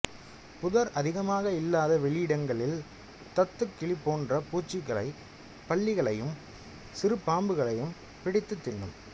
புதர் அதிகமாக இல்லாத வெளியிடங்களில் தத்துக்கிளி போன்ற பூச்சிகளையும் பல்லிகளையும் சிறுபாம்புகளையும் பிடித்துத் தின்னும்